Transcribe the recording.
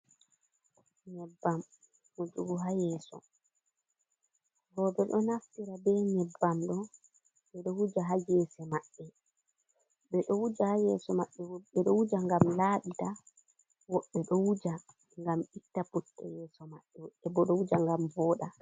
Nyebbam hujugo ha yeeso, rooɓe ɗo naftira be nyebam ɗo ɓe ɗo wuja ha gese maɓɓe, ɓe ɗo wuja ha yeso maɓɓe ɓe ɗo wuja ngam laɓita, woɓɓe ɗo wuja ngam itta putte yeso maɓɓe, woɓɓe ɗo wuja ngam booɗa.